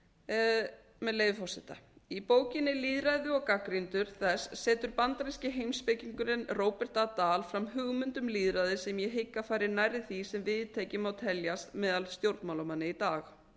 prúttlýðræði með leyfi forseta í bókinni lýðræði og gagnrýnendur þess setur bandaríski heimspekingurinn robert a dahl fram hugmynd um lýðræði sem ég hygg að fari nærri því sem viðtekið má teljast meðal stjórnmálamanna í dag